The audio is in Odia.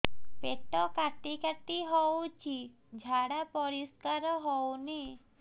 ପେଟ କାଟି କାଟି ହଉଚି ଝାଡା ପରିସ୍କାର ହଉନି